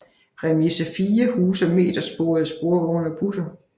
Remise 4 huser metersporede sporvogne og busser